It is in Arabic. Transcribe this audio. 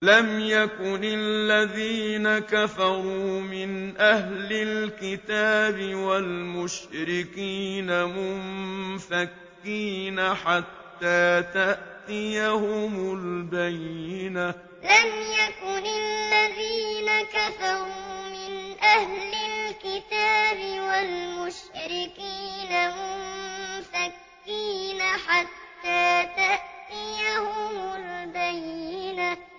لَمْ يَكُنِ الَّذِينَ كَفَرُوا مِنْ أَهْلِ الْكِتَابِ وَالْمُشْرِكِينَ مُنفَكِّينَ حَتَّىٰ تَأْتِيَهُمُ الْبَيِّنَةُ لَمْ يَكُنِ الَّذِينَ كَفَرُوا مِنْ أَهْلِ الْكِتَابِ وَالْمُشْرِكِينَ مُنفَكِّينَ حَتَّىٰ تَأْتِيَهُمُ الْبَيِّنَةُ